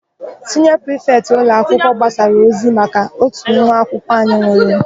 Siniọ prifetị ụlọakwụkwọ gbasara ozi maka ótù nwa akwụkwọ anyị nwụrụ.